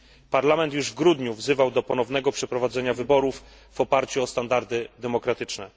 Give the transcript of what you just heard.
Parlament już w grudniu wzywał do ponownego przeprowadzenia wyborów w oparciu o standardy demokratyczne.